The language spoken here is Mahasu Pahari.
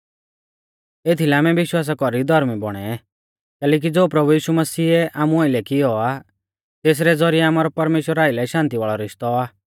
एथीलै आमै विश्वासा कौरी धौर्मी बौणै कैलैकि ज़ो प्रभु यीशु मसीहै आमु आइलै कियौ आ तेसरै ज़ौरिऐ आमारौ परमेश्‍वरा आइलै शान्ति वाल़ौ रिश्तौ आ